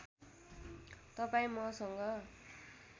तपाईँ मसँग